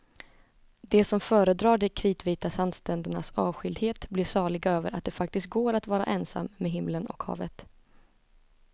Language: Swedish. De som föredrar de kritvita sandsträndernas avskildhet blir saliga över att det faktiskt går att vara ensam med himlen och havet.